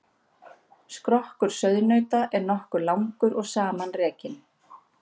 Skrokkur sauðnauta er nokkuð langur og samanrekin.